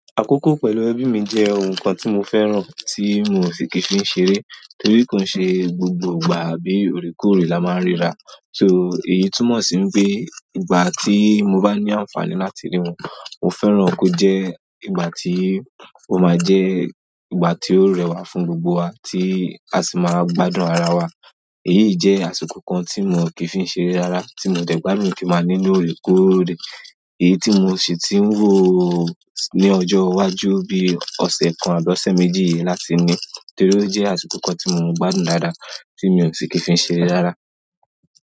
Àkókò pẹ̀lú ẹbí mi jẹ́ ohun kan tí mo fẹ́ràn tí n ò ṣi kìí fi ṣeré, torí ko n ṣe gbogbo ìgbà àbí òorekoòòré la máa ń ríra. So èyí túmọ̀ sí n pé ìgbà tí mo bá ní àǹfààní láti rí wọn, mo fẹ́ràn kó jẹ́ ìgbà tí ó máa jẹ́ ìgbà tí ó rẹwà fún gbogbo wa tí a sì máa gbádùn ara wa. Èyí je àsìkò kan ti mi o kii fi ṣeré rara ti mo de gbádùn ki n maa ni ni oorekoore èyí tí mo sì ti ń wò ó ní ọjọ́ iwájú bí ọ̀sẹ̀ kan àbí ọsẹ́ méjì yìí láti ni, torí ó jẹ́ àsìkò kan tí mo ń gbádùn dáadáa tí mi ò ṣi kìí fi ṣeré rárá.